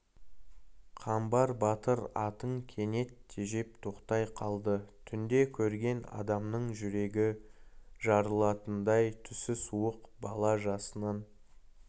қамбар батыр атын кенет тежеп тоқтай қалды түнде көрген адамның жүрегі жарылатындай түсі суық бала жасынан